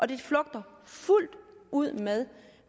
det flugter fuldt ud med